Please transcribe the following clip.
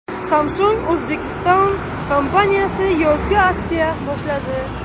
Samsung Uzbekistan kompaniyasi yozgi aksiya boshladi.